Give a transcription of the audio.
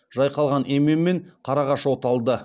жайқалған емен мен қарағаш оталды